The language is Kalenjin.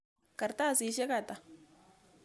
Kartasisyek ata?